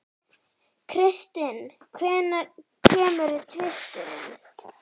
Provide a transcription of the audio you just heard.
Kristin, hvenær kemur tvisturinn?